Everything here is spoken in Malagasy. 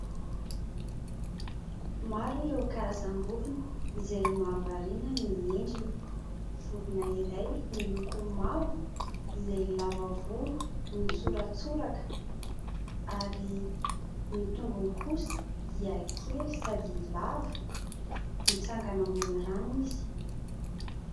Maro ireo karazam-borona izay mahavariana ny endriny. Vorona iray miloko mavo ; izay lava volo mitsoratsoraka ary ny tongony kosa dia kely sady lava ; mitsangana ambony rano izy.